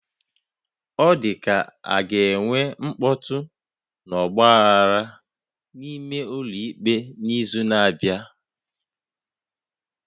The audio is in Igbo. O dịka ka ọ ga-enwe mkpọtụ na ọgba aghara n'ime ụlọ ikpe n'izu na-abịa